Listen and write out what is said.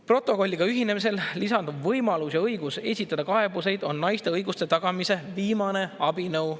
Protokolliga ühinemisel lisandub võimalus ja õigus esitada kaebusi, mis on naiste õiguste tagamise viimane abinõu.